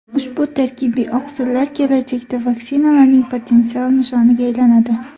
Ushbu tarkibiy oqsillar kelajakda vaksinalarning potensial nishoniga aylanadi.